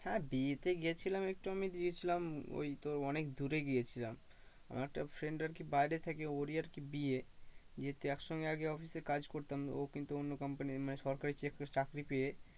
হ্যাঁ বিয়েতে গিয়েছিলাম একটু আমি গিয়েছিলাম ওই তোর অনেক দূরে গিয়েছিলাম আমার একটা friend আর কি বাইরে থাকে ওরই আর কি বিয়ে যেহেতু এক সঙ্গে আগে office এ কাজ করতাম ও কিন্তু অন্য company মানে সরকারি চাকরি পেয়ে